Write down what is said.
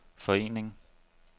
forening